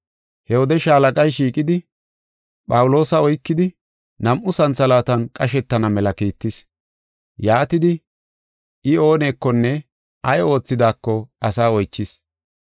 He wode shaalaqay shiiqidi, Phawuloosa oykidi, nam7u santhalaatan qashetana mela kiittis. Yaatidi, I oonekonne ay oothidaako asaa oychis.